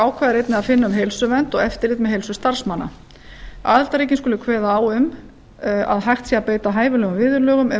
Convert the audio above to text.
ákvæði er einnig að finna um heilsuvernd og eftirlit með heilsu starfsmanna aðildarríkin skulu kveða á um að hægt sé að beita hæfilegum viðurlögum ef